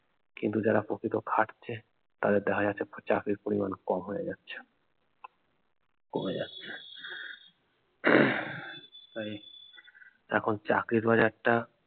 কিন্ত যারা প্রকৃত খাটছে তাদের দেখা যাচ্ছে চাকরির পরিমান কম হয়ে যাচ্ছে কমে যাচ্ছে তাই আহ এখন চাকরির বাজারটা